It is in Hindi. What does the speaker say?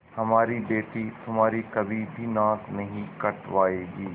हमारी बेटी तुम्हारी कभी भी नाक नहीं कटायेगी